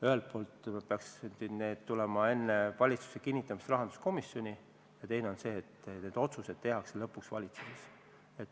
Ühelt poolt peaks need tulema enne valitsuses kinnitamist rahanduskomisjoni ja teine asi on see, et need otsused tehakse lõpuks ikkagi valitsuses.